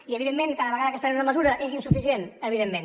i evidentment cada vegada que es pren una mesura és insuficient evidentment